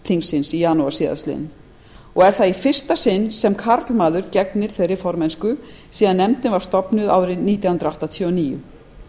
evrópuráðsþingsins í janúar síðastliðinn og er það í fyrsta sinn sem karlmaður gegnir þeirri formennsku síðan nefndin var stofnuð árið nítján hundruð áttatíu og níu